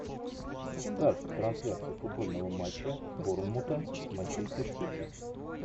ставь трансляцию футбольного матча борнмута с манчестер сити